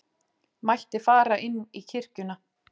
mætti fara inn í kirkjuna.